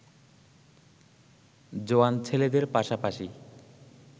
জোয়ান ছেলেদের পাশাপাশি